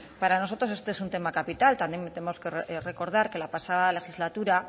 para nosotros este es un tema capital también tenemos que recordar que la pasada legislatura